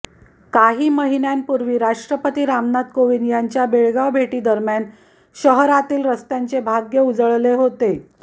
काही महिन्यांपूर्वी राष्ट्रपती रामनाथ कोविंद यांच्या बेळगाव भेटीदरम्यान शहरातील रस्त्यांचे भाग्य उजळले होते